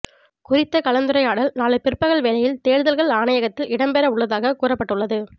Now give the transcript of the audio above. குறித்த கலந்துரையாடல் நாளை பிற்பகல் வேளையில் தேர்தல்கள் ஆணையகத்தில் இடம்பெற உள்ளதாக கூறப்பட்டுள்ளது